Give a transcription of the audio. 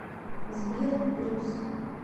сбер брюс